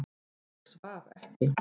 Ég svaf ekki.